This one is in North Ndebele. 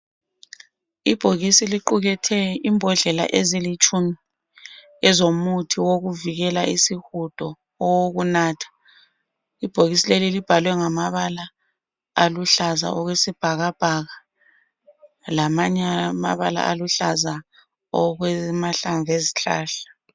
Ibhokisi liqukethe imbodlela ezilitshumi ezomuthi wokuvikela isihudo owokunatha, ibhokisi leli libhalwe ngamabala aluhlaza okwe sibhakabhaka lamanye amabala aluhlaza okwema hlamvu ezihlahla.